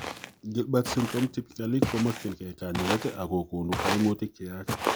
Gilbert syndrome typically komamokyinkee kanyaeet ako koonu kaimutik cheyaach